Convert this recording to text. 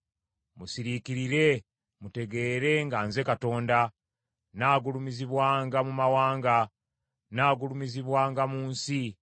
Musiriikirire mutegeere nga nze Katonda. Nnaagulumizibwanga mu mawanga. Nnaagulumizibwanga mu nsi.